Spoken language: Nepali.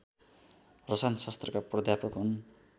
रसायनशास्त्रका प्राध्यापक हुन्